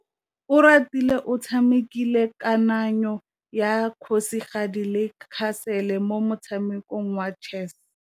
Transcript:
Oratile o tshamekile kananyô ya kgosigadi le khasêlê mo motshamekong wa chess.